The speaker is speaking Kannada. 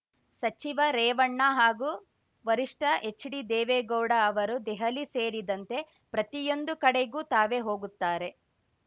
ಸಚಿವ ರೇವಣ್ಣ ಹಾಗೂ ವರಿಷ್ಠ ಹೆಚ್‌ಡಿ ದೇವೇಗೌಡ ಅವರು ದೆಹಲಿ ಸೇರಿದಂತೆ ಪ್ರತಿಯೊಂದು ಕಡೆಗೂ ತಾವೇ ಹೋಗುತ್ತಾರೆ